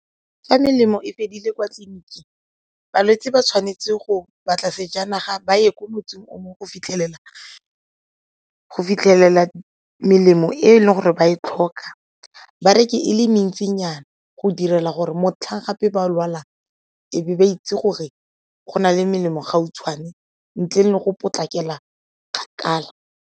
Fa melemo e fedile kwa tleliniking, balwetse ba tshwanetse go batla sejanaga ba ye ko motseng o mongwe go fitlhelela melemo e e leng gore ba e tlhoka ba reke e le mentsinyana go direla gore motlhang gape ba lwalang e be ba itse gore go na le melemo gautshwane ntle le go potlakela kgakala.